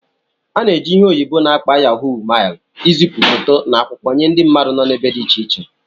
A na-eji ihe oyibo n'akpo Yahó mailu izipu foto na akwụkwọ nye ndị mmadụ nọ n'ebe dị iche iche